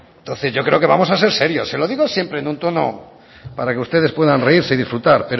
entonces yo creo que vamos a ser serios se lo digo siempre en un tono para que ustedes puedan reírse y disfrutar